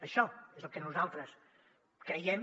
això és el que nosaltres creiem